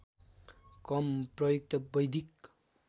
कम प्रयुक्त वैदिक